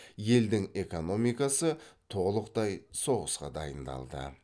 елдің экономикасы толықтай соғысқа дайындалды